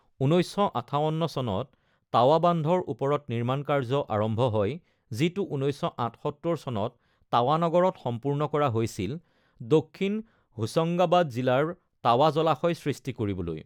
১৯৫৮ চনত, তাৱা বান্ধৰ ওপৰত নিৰ্মাণ কাৰ্য্য আৰম্ভ হয়, যিটো ১৯৭৮ চনত তাৱা নগৰত সম্পূৰ্ণ কৰা হৈছিল, দক্ষিণ হোচঙ্গাবাদ জিলাৰ তাৱা জলাশয় সৃষ্টি কৰিবলৈ।